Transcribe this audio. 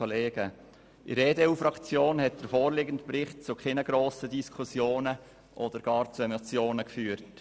In der EDU-Fraktion hat der vorliegende Bericht zu keinen grossen Diskussionen oder gar zu Emotionen geführt.